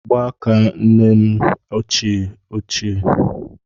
Mgbaaka nne m ochie ochie